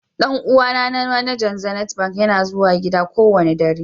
Dan uwa na manajan zenith Bank ya ka zuwa gida lati kowani dare.